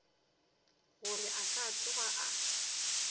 gore a ka tsoga a